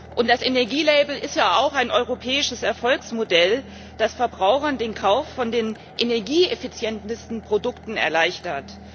Und das Energielabel ist ja auch ein europäisches Erfolgsmodell, das Verbrauchern den Kauf der energieeffizientesten Produkte erleichtert.